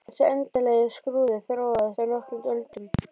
Þessi endanlegi skrúði þróaðist á nokkrum öldum.